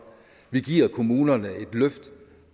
vi giver kommunerne et løft